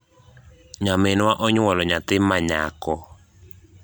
nyaminwa onywolo nyathi ma nyako